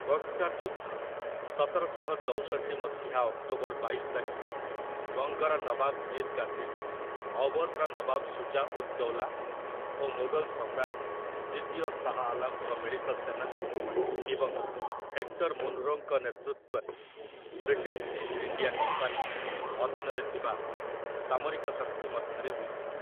ବକ୍‌ସାର୍‌ ଯୁଦ୍ଧ, ସତରଶହ ଚଉଷଠି ମସିହା ଅକ୍ଟୋବର ବାଇଶ ତାରିଖରେ, ବଙ୍ଗର ନବାବ ମୀର୍ କାସିମ୍, ଅଓ୍ୱଧର ନବାବ ସୁଜା ଉଦ୍ ଦୌଲା ଓ ମୋଗଲ ସମ୍ରାଟ ଦ୍ୱିତୀୟ ଶାହ୍ ଆଲମ୍‌ଙ୍କ ମିଳିତ ସେନା ଏବଂ ହେକ୍ଟର୍ ମୁନରୋଙ୍କ ନେତୃତ୍ୱରେ ବ୍ରିଟିଶ୍ ଇଷ୍ଟ ଇଣ୍ଡିଆ କମ୍ପାନୀ ଅଧୀନରେ ଥିବା ସାମରିକ ଶକ୍ତି ମଧ୍ୟରେ ହୋଇଥିଲା ।